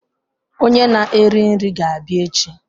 Onye na-eri nri ga-abịa echi